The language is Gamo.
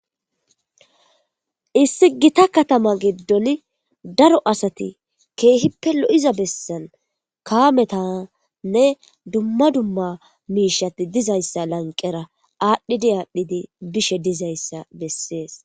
issi gita katama giddoni daro asati keehippe lo7iza bessan kaametanne dumma dumma miishati dizayssa lanqera aadhdhidi aadhdhidi bishe dizayssa bessees